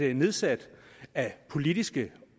er nedsat af politiske